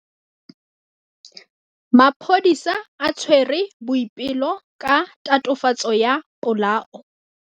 Maphodisa a tshwere Boipelo ka tatofatsô ya polaô.